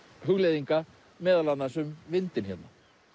hugleiðinga meðal annars um vindinn hérna